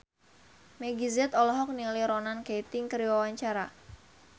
Meggie Z olohok ningali Ronan Keating keur diwawancara